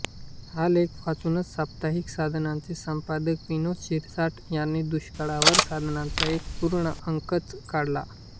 हा लेख वाचूनच साप्ताहिक साधनाचे संपादक विनोद शिरसाठ यांनी दुष्काळावर साधनाचा एक पूर्ण अंकच काढला